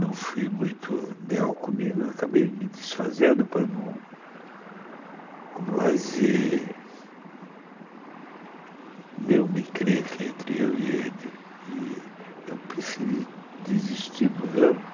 não fui muito leal comigo, eu acabei me desfazendo para não haver nenhuma encrenca entre eu e ele e eu preferi desistir do ramo